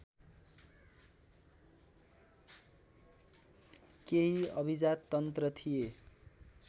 केही अभिजाततन्त्र थिए